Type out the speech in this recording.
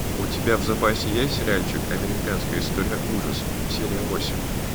у тебя в запасе есть сериальчик американская история ужасов серия восемь